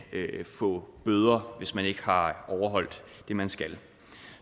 få bøder hvis man ikke har overholdt det man skal